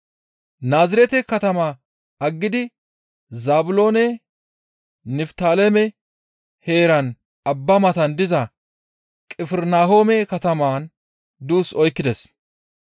Naazirete katama aggidi Zaabiloone Niftaaleme heeran abba matan diza Qifirnahoome kataman duus oykkides.